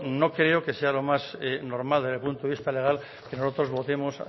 no creo que sea lo más normal desde el punto de vista legal que nosotros votemos